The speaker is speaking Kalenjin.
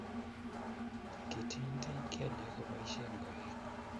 Kitinytiny keliek ko boisien koik